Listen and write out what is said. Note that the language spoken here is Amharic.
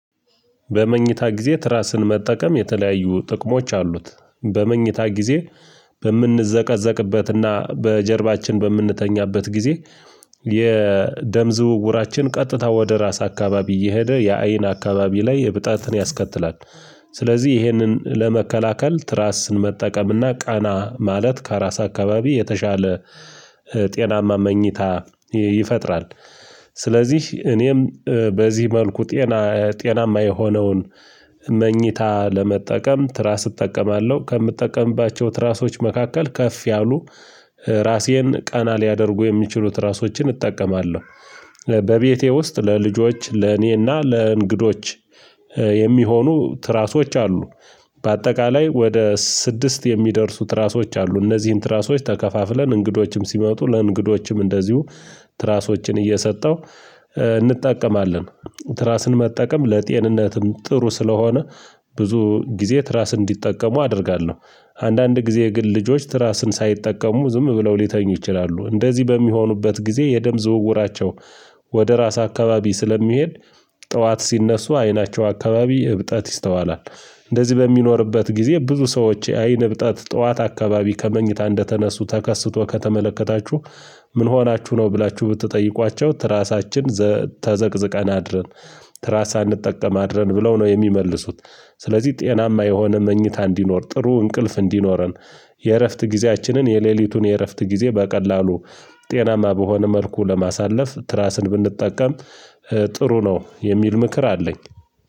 በመኝታ ጊዜ ትራስን መጠቀም የተለያዩ ጥቅሞች አሉት። በመኝታ ጊዜ በምንዘቀዘቅበት እና በጀርባችን በምንተኛበት ጊዜ የደም ዝውውራችን ቀጥታ ወደ ራስ አካባቢ እየሄደ የአይን አካባቢ ላይ እብጠትን ያስከትላል። ስለዚህ ይሄንን ለመከላከል ትራስን መጠቀምና ቀና ማለት ከራስ አካባቢ የተሻለ ጤናማ መኝታ ይፈጥራል። ስለዚህ እኔም በዚህ መልኩ ጤና ጤናማ የሆነውን መኝታ ለመጠቀም ትራስ እጠቀማለሁ ከምጠቀምባቸው ትራሶች መካከል ከፍ ያሉ ራሴን ቀና ሊያደርጉ የሚችሉት ትራሶችን እጠቀማለሁ። በቤቴ ውስጥ ለልጆች ለእኔና ለእንግዶች የሚሆኑ ትራሶች አሉ። በአጠቃላይ ወደ ስድስት የሚደርሱ ትራሶች አሉ እነዚህን ትራሶች ተከፋፍለን እንግዶችም ሲመጡ ለእንግዶችም እንደዚሁ ትራሶችን እየሰጠው እንጠቀማለን። ትራስን መጠቀም ለጤንነትም ጥሩ ስለሆነ ብዙ ጊዜ ትራስ እንዲጠቀሙ አደርጋለሁ። አንዳንድ ጊዜ ግን ልጆች ትራስን ሳይጠቀሙ ዝም ብለው ሊተኙ ይችላሉ እንደዚህ በሚሆኑበት ጊዜ የደም ዝውውራቸው ወደ ራስ አካባቢ ስለሚሄድ ጠዋት ሲነሱ አይናቸው አካባቢ እብጠት ይስተዋላል። እንደዚህ በሚኖርበት ጊዜ ብዙ ሰዎች የአይን እብጣት ጠዋት አካባቢ ከመኝታ እንደተነሱ ተከስቶ ከተመለከታችሁ ምን ሆናችሁ ነው ብላችሁ ብትጠይቋቸው ትራሳችን ተዘቅዝቀን አድረን ትራስ ሳንጠቀም አድረን ብለው ነው የሚመልሱት። ስለዚህ ጤናማ የሆነ መኝታ እንዲኖር ጥሩ እንቅልፍ እንዲኖረን የእረፍት ጊዜያችንን የሌሊቱን የእረፍት ጊዜ በቀላሉ ጤናማ በሆነ መልኩ ለማሳለፍ ትራስን ብንጠቀም ጥሩ ነው የሚል ምክር አለኝ።